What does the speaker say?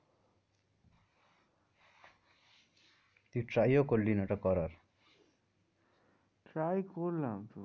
তুই try ও করলি না ওটা করার try করলাম তো